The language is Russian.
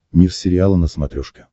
мир сериала на смотрешке